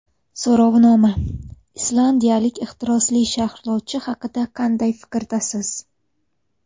So‘rovnoma: Islandiyalik ehtirosli sharhlovchi haqida qanday fikrdasiz?.